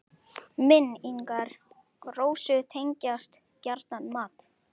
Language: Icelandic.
Minn- ingar Rósu tengjast gjarnan mat.